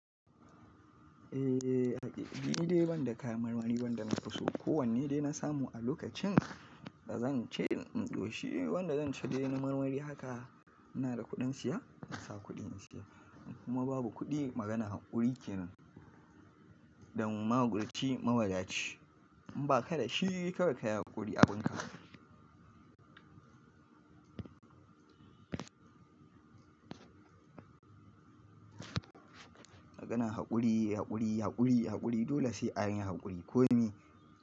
Eh, ni dai ban da kayan marmari wanda na fi so. Ko wanne dai na samu a lokacin da zan ci in ƙoshi wanda zan ci dai na marmari haka, ina da kuɗin siya, in sa kuɗin siya. Kuma babu kuɗi maganan haƙuri kenan don mahaƙurci, mawadaci. In ba ka da shi kawai ka yi haƙuri abunka. Maganan haƙuri, haƙuri, haƙuri, haƙuri dole sai an yi haƙuri. Ko me.